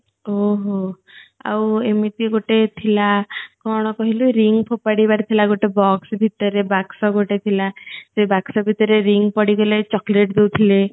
ଓହୋ ଆଉ ଏମିତି ଗଟେ ଥିଲା କଣ କହିଲୁ ring ଫୋଫାଡି ବାର ଥିଲା ଗଟେ box ଭିତରେ ବାକ୍ସ ଗଟେ ଥିଲା ସେ ବାକ୍ସ ଭିତରେ ring ପଡ଼ିଗଲେ chocolate ଦୋଉଥିଲେ